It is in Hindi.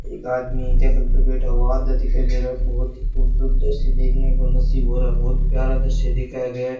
एक आदमी टेबल पर बैठा हुआ आधा दिखाई दे रहा है बहोत ही खूबसूरत दृश्य देखने को नसीब हो रहा बहोत प्यारा दृश्य दिखाया गया।